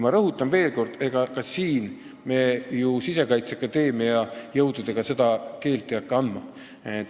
Ma rõhutan veel kord, et ega me ju Sisekaitseakadeemia jõududega hakka seda keeleõpet andma.